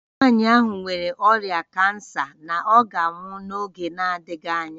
Nwanyị ahụ nwere ọrịa kansa na ọ ga-anwụ n'oge na-adịghị anya